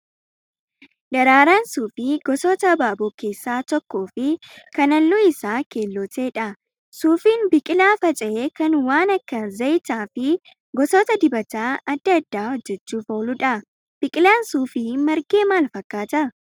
Daraaraan suufii gosoota abaaboo keessaa tokkoo fi kan halluun isaa keelloo ta'edha. Suufiin biqilaa faca'ee kan waan akka zayitaa fi gosoota dibataa adda addaa hojjachuuf ooludha. Biqilaan suufii margee maal fakkaata?